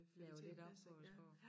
Laver lidt om på æ sprog